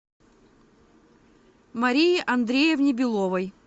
марии андреевне беловой